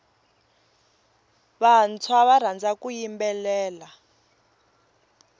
vantshwa va rhandza ku yimbelela